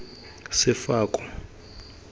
sefako